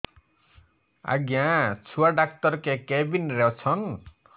ଆଜ୍ଞା ଛୁଆ ଡାକ୍ତର କେ କେବିନ୍ ରେ ଅଛନ୍